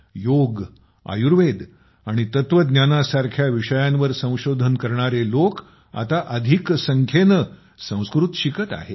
योग आयुर्वेद आणि तत्त्वज्ञानासारख्या विषयांवर संशोधन करणारे लोक आता जास्त करून संस्कृत शिकत आहेत